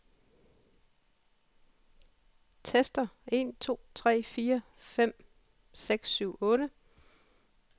Tester en to tre fire fem seks syv otte.